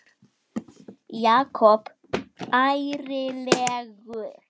Jakob ærlegur